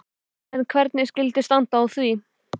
En hvernig skyldi standa á því?